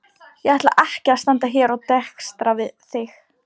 Ég ætla ekki að standa hér og dekstra þig.